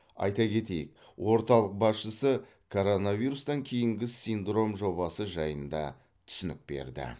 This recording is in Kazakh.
айта кетейік орталық басшысы коронавирустан кейінгі синдром жобасы жайында түсінік берді